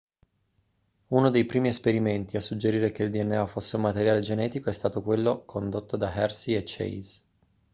uno dei primi esperimenti a suggerire che il dna fosse un materiale genetico è stato quello condotto da hershey e chase